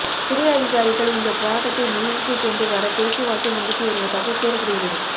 சிறை அதிகாரிகள் இந்த போராட்டத்தை முடிவுக்கு கொண்டு வர பேச்சுவார்த்தை நடத்தி வருவதாக கூறப்படுகிறது